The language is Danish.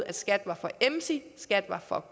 at skat var for emsige skat var for